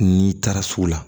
N'i taara sugu la